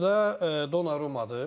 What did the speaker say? Qapıda Donnarummadır.